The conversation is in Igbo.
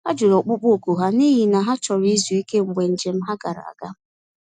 Ha jụrụ ọkpụkpọ oku ha, n’ihi na ha chọrọ izu ike mgbe njem ha gara aga.